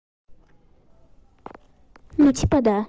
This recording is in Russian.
ну типа да